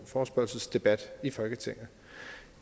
forespørgselsdebat i folketinget